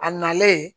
A nalen